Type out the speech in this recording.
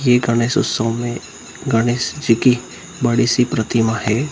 ये गणेश उत्सव में गणेश जी कि बड़ी सी प्रतिमा हैं।